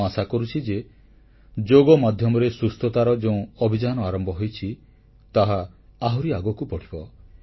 ମୁଁ ଆଶା କରୁଛି ଯେ ଯୋଗ ମାଧ୍ୟମରେ ସୁସ୍ଥତାର ଯେଉଁ ଅଭିଯାନ ଆରମ୍ଭ ହୋଇଛି ତାହା ଆହୁରି ଆଗକୁ ବଢ଼ିବ